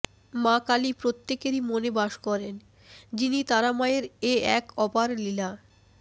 মা কালী প্রত্যেকেরই মনে বাস করেন যিনি তারা মায়ের এ এক অপার লীলা